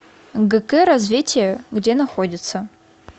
гк развитие где находится